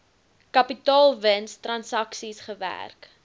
kapitaalwins transaksies gewerk